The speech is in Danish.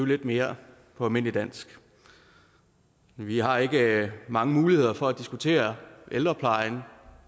lidt mere almindelig dansk vi har ikke mange muligheder for at diskutere ældreplejen